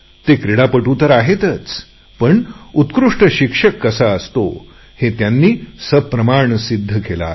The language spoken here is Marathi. ते क्रीडापटू तर आहेतच परंतु उत्कृष्ट शिक्षक कसा असतो याचे उदाहरणच त्यांनी सादर केले आहे